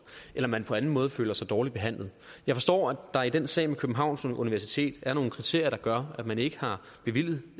eller at man på anden måde føler sig dårligt behandlet jeg forstår at der i den sag med københavns universitet er nogle kriterier der gør at man ikke har bevilget